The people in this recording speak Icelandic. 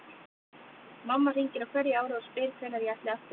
Mamma hringir á hverju ári og spyr hvenær ég ætli aftur í nám.